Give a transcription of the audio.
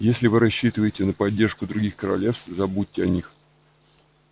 если вы рассчитываете на поддержку других королевств забудьте о них